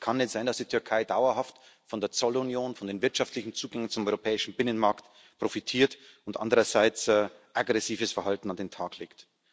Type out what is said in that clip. Es kann nicht sein, dass die Türkei dauerhaft von der Zollunion, von dem wirtschaftlichen Zugang zum europäischen Binnenmarkt profitiert und andererseits aggressives Verhalten an den Tag legt.